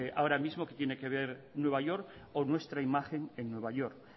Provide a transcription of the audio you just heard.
ahora mismo tiene que ver nueva york o nuestra imagen en nueva york